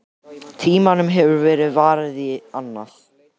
Tímanum hefur verið varið í annað.